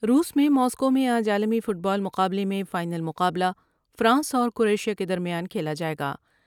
روس میں ماسکو میں آج عالمی فٹ بال مقابلے میں فائنل مقابلہ فرانس اور کروشیا کے درمیان کھیلا جائے گا ۔